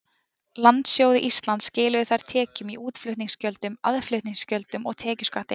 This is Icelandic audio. Landsjóði Íslands skiluðu þær tekjum í útflutningsgjöldum, aðflutningsgjöldum og tekjuskatti.